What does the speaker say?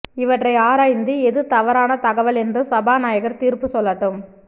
இவற்றை ஆராய்ந்து எது தவறான தகவல் என்று சபாநாயகர் தீர்ப்பு சொல்லட்டும்